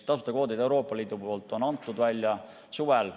Tasuta kvoodid on Euroopa Liidu poolt antud välja suvel.